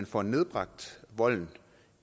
få nedbragt volden